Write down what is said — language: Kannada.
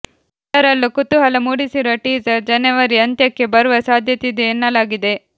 ಎಲ್ಲರಲ್ಲೂ ಕುತೂಹಲ ಮೂಡಿಸಿರುವ ಟೀಸರ್ ಜನೆವರಿ ಅಂತ್ಯಕ್ಕೆ ಬರುವ ಸಾಧ್ಯತೆ ಇದೆ ಎನ್ನಲಾಗಿದೆ